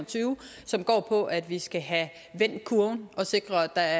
og tyve som går på at vi skal have vendt kurven og sikret at